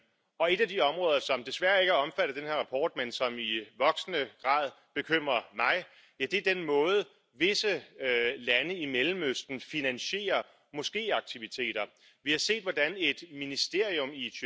care trebuie să fie spălați de către infractori. Deci nu este nevoie de o condamnare anterioară sau să cunoaștem autorul activității infracționale care a generat banii murdari.